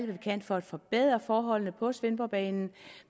vi kan for at forbedre forholdene på svendborgbanen